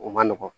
O man nɔgɔn